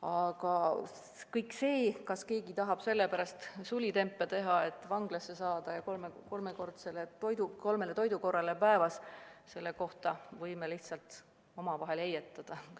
Aga sellest, kas keegi tahab sellepärast sulitempe teha, et vanglasse saada, kus on õigus kolmele toidukorrale päevas, võime lihtsalt omavahel heietada.